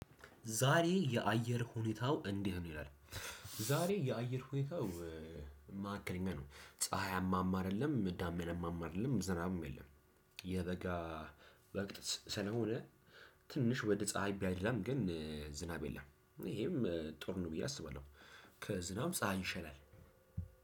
ዛሬ የአየር ሁኔታው እንዲህ ነው ይላል። ዛሬ የአየር ሁኔታው ማሃከለኛ ነው ፀሀያማም አደለም ዳመናማም አደለም ዝናብም የለም። የበጋ ወቅት ስለሆነ ትንሽ ወደ ፀሀይ ቢያደላም ግን ዝናብ የለም። ይሄም ጥሩ ነው ብዬ አስባለሁ። ከዝናብ ፀሀይ ይሻላል።